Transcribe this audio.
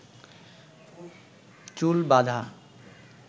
চুল বাধা